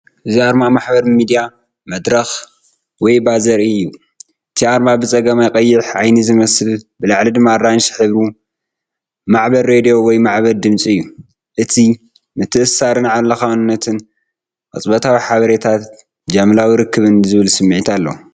እዚ ኣርማ ማሕበራዊ ሚድያ መድረኽ ዌይቦ ዘርኢ እዩ። እቲ ኣርማ ብጸጋም ቀይሕ፡ ዓይኒ ዝመስል፡ ብላዕሊ ድማ ኣራንሺ ዝሕብሩ ማዕበል ሬድዮ ወይ ማዕበል ድምጺ እዩ። እዚ ምትእስሳርን ዓለምለኻውነትን! ቅጽበታዊ ሓበሬታን ጃምላዊ ርክብን ዝብል ስምዒት ኣለዎ።